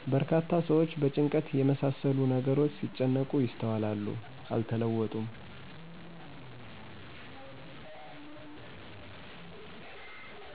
በርካታ ሰዎች በጭንቀት የመሳሰሉ ነገሮች ሲጨነቁ ይስተዋላሉ። አልተለወጡም